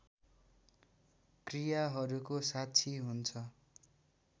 क्रियाहरूको साक्षी हुन्छ